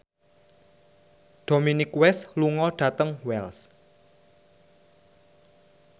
Dominic West lunga dhateng Wells